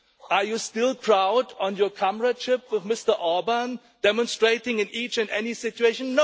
Are you still proud of your comradeship with Mr Orban, demonstrating it in each and every situation?